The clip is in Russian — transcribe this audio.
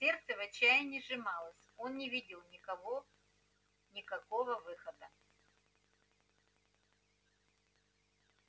сердце в отчаянии сжималось он не видел никого никакого выхода